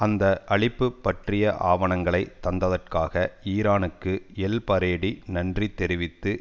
அந்த அளிப்பு பற்றிய ஆவணங்களை தந்ததற்காக ஈரானுக்கு எல் பரேடி நன்றி தெரிவித்து